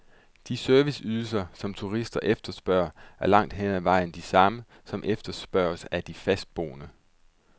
De serviceydelser, som turister efterspørger, er langt hen ad vejen de samme, som efterspørges af de fastboende.